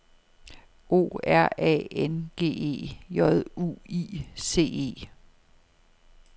O R A N G E J U I C E